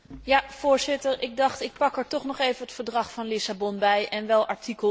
Voorzitter, ik pak er toch nog even het Verdrag van Lissabon bij, en wel artikel